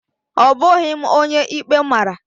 Ọ bụghị m onye ikpe mara